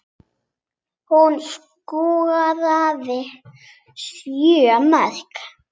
Hún skoraði sjö mörk.